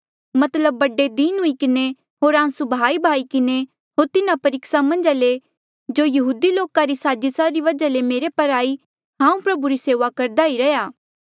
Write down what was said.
मतलब बड़े दीन हुई किन्हें होर आंसू बहाईबहाई किन्हें होर तिन्हा परीक्सा मन्झ ले जो यहूदी लोका री साजिसा री वजहा ले मेरे पर आई हांऊँ प्रभु री सेऊआ करदा ई रैंहयां